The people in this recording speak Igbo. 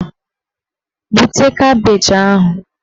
Bute kabeeji ahụ!